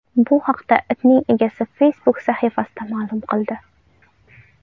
Bu haqda itning egasi Facebook sahifasida ma’lum qildi .